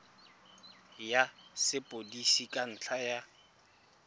ya sepodisi ka ntlha ya